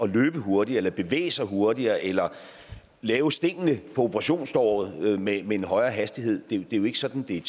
løbe hurtigere eller bevæge sig hurtigere eller lave stingene på operationssåret med en højere hastighed det er jo ikke sådan det er